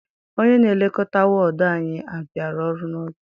Onye na-elekọta wọdu anyị abiara ọrụ n'oge.